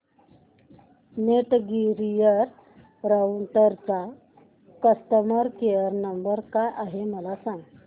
Netgear राउटरचा customer care number काय आहे मला सांग